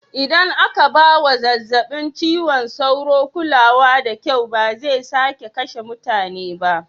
Idan aka ba wa zazzabin cizon sauro kulawa da kyau, ba zai sake kashe mutane ba.